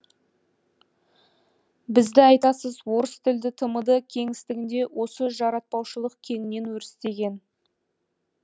бізді айтасыз орыс тілді тмд кеңістігінде осы жаратпаушылық кеңінен өрістеген